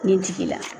Nin tigi la